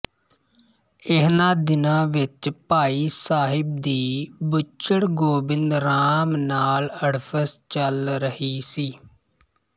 ਇਹਨਾਂ ਦਿਨਾਂ ਵਿੱਚ ਭਾਈ ਸਾਹਿਬ ਦੀ ਬੁੱਚੜ ਗੋਬਿੰਦ ਰਾਮ ਨਾਲ ਅੜਫਸ ਚੱਲ ਰਹੀ ਸੀ